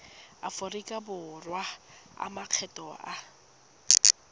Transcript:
aforika borwa a makgetho a